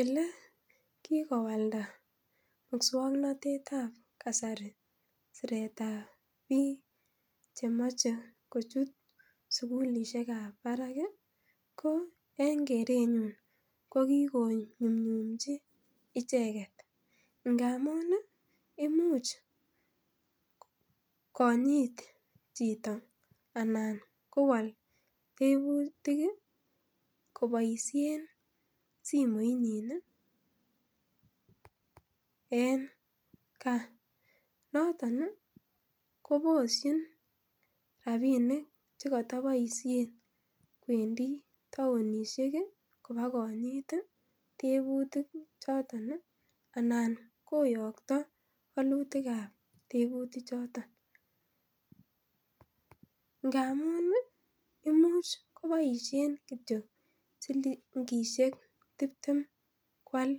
Ele kikowala muswoknotetab kasari siretab bik chemoche kochut sukulishekab barak Ko en kerenyun ko kikonyumnyumchi icheket ngandan imuch kinyit chito anan kowol teputik koboishen simoinyin nii en gaa noton nii koboshi rabishek chekoto boishet kwendii townishek kii bakinyit tii teputik choton anan koyokto wolutikap teputik choton, ngamun nii imuch koboishen kityok silingishek tiptem kwal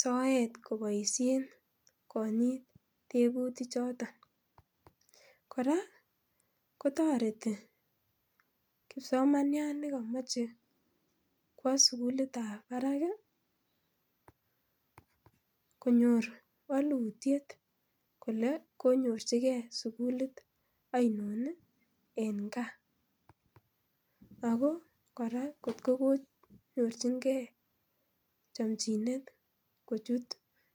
soet koboishen kinyit teputik choton. Koraa kotoreti kipsomaniat nekomoche kwo sukulitab barak konyor wolutyet kole konyorchigee sukulit oinon en gaa ako koraa kotko konyorchigee chomchinet kochut.